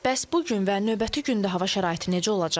Bəs bu gün və növbəti gündə hava şəraiti necə olacaq?